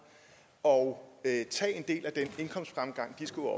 og tage en del af den indkomstfremgang de skulle